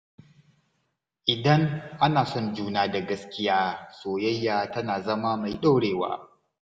Idan ana son juna da gaskiya, soyayya tana zama mai ɗorewa.